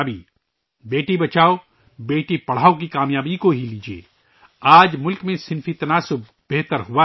' بیٹی بچاؤ، بیٹی پڑھاؤ ' کی کامیابی کو لے لیں، آج ملک میں جنسی تناسب بہتر ہوا ہے